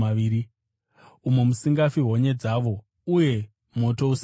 umo musingafi honye dzavo uye moto usingadzimwi.